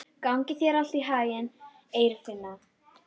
Gangi þér allt í haginn, Eirfinna.